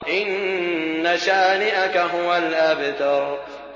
إِنَّ شَانِئَكَ هُوَ الْأَبْتَرُ